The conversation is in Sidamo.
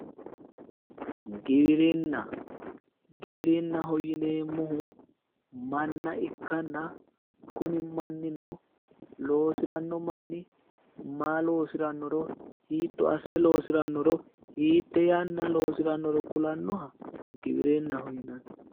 Giwirinna Giwirinaho yineemmohu manna ikkanna kuni mannino loosiranno manni maa loosirannoro hiitto assire loosirannoro hiitte yanna loosirannoro kulannoha giwirinnaho yinanni.